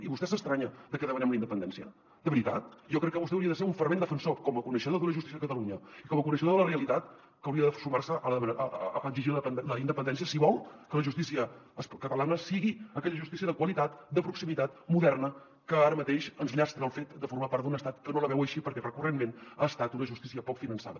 i vostè s’estranya de que demanem la independència de veritat jo crec que vostè hauria de ser un fervent defensor com a coneixedor de la justícia de catalunya i com a coneixedor de la realitat que hauria de sumar se a exigir la independència si vol que la justícia catalana sigui aquella justícia de qualitat de proximitat moderna que ara mateix ens llastra el fet de formar part d’un estat que no la veu així perquè recurrentment ha estat una justícia poc finançada